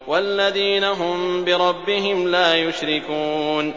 وَالَّذِينَ هُم بِرَبِّهِمْ لَا يُشْرِكُونَ